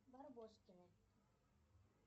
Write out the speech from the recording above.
барбоскины